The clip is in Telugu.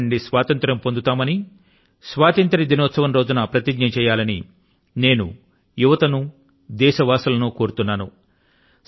మహమ్మారి నుండి స్వాతంత్రం పొందుతామని స్వాతంత్ర్య దినోత్సవం రోజు న ప్రతిజ్ఞ చేయాలని యువత ను దేశవాసులను నేను కోరుతున్నాను